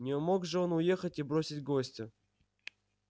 не мог же он уехать и бросить гостя